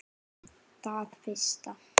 Það fyrsta.